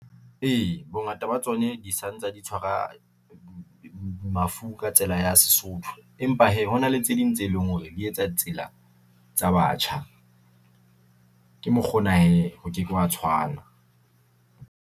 E, bongata ba tsone di santsa di tshwara mafu ka tsela ya Sesotho, empa hee hona le tse ding tse leng hore di etsa tsela tsa batjha. Ke mokgona hee ho ke ke hwa tshwana.